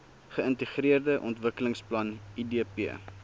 geintegreerde ontwikkelingsplan idp